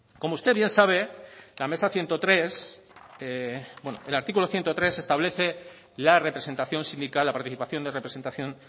como usted bien sabe la mesa ciento tres el artículo ciento tres establece la representación sindical la participación de representación